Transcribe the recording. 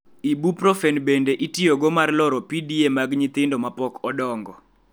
Ibuprofen bende itiyogo mar loro PDA mag nyithindo ma pok odongo.